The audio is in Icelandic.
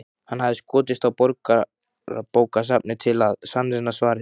Hann hafði skotist á Borgarbókasafnið til að sannreyna svarið.